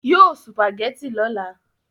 Yóò sùpàgẹ́tì lọ́la